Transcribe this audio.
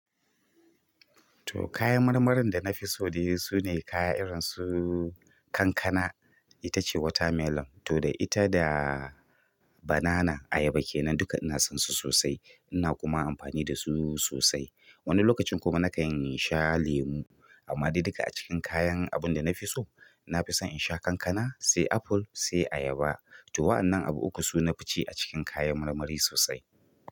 To kayan marmarin da na fi so dai su ne kaya irin su kankana, ita ce watermelon. To da ita da banana, ayaba kenan. Dukka ina son su sosai, ina kuma amfani da su sosai. Wani lokacin kuma na kan sha lemu. Amma dai duka a cikin kayan abun da na fi so, na fi son in sha kankana sai apple sai ayaba. To wa'annan abu uku su nafi ci a cikin kayan marmari sosai.